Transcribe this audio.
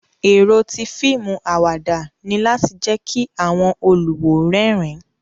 Ero ti fiimu awada ni lati jẹ ki awọn oluwo rẹrin